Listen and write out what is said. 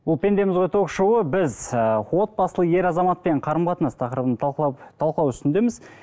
бұл пендеміз ғой ток шоуы біз ыыы отбасылы ер азаматпен қарым қатынас тақырыбын талқылап талқылау үстіндеміз